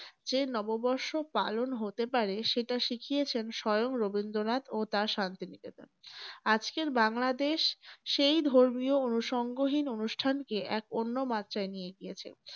যে নব বর্ষ পালন হতে পারে সেটা শিখিয়েছেন স্বয়ং রবীন্দ্রনাথ ও তার শান্তি নিকেতন। আজকের বাংলাদেশ সেই ধর্মীয় অনুসঙ্গহীন অনুষ্ঠানকে এক অন্য মাত্রায় নিয়ে গিয়েছে ।